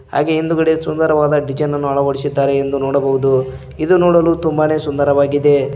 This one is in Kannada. ಹಾಗೆ ಹಿಂದುಗಡೆ ಸುಂದರವಾದ ಡಿಸೈನನ್ನು ಅಳವಡಿಸಿದ್ದಾರೆ ಎಂದು ನೋಡಬಹುದು ಇದು ನೋಡಲು ತುಂಬಾನೇ ಸುಂದರವಾಗಿದೆ.